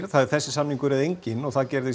það er þessi samningur eða enginn og það gerði